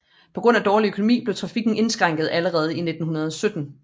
På grund af dårlig økonomi blev trafikken indskrænket allerede i 1917